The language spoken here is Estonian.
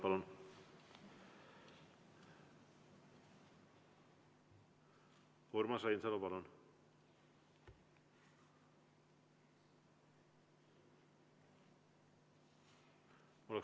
Urmas Reinsalu, palun!